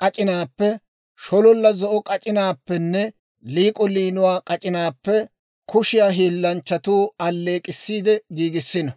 k'ac'inaappe, shololla zo'o k'ac'inaappenne liik'o liinuwaa k'ac'inaappe kushiyaa hiillanchchatuu alleek'k'issiide giigissiino.